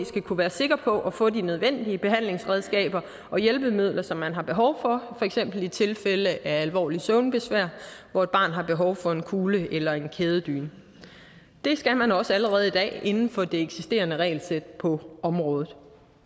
skal kunne være sikker på at få de nødvendige behandlingsredskaber og hjælpemidler som man har behov for for eksempel i tilfælde af alvorligt søvnbesvær hvor et barn har behov for en kugle eller en kædedyne det skal man også allerede i dag inden for det eksisterende regelsæt på området